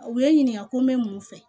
U bɛ n ɲininka ko n bɛ mun fɛ